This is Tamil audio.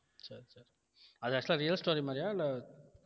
சரி சரி அது actual ஆ real story மாதிரியா இல்ல